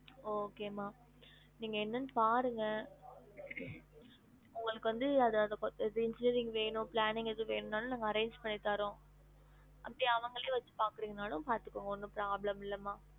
Okay மா நீங்க என்னனு பாருங்க உங்களுக்கு வந்து அத அத கொத்த engineering வேணும் planning எதும் வேணும் நாளும் நாங்க arrange பண்ணித்தாறோம் அப்டி அவங்களையே வச்சு பாக்குறிங்கனாலும் பாத்துகோங்க ஒன்னும் problem இல்ல மா